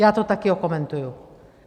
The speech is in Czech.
Já to taky okomentuji.